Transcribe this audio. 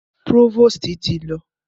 Próvòstì ti lọ.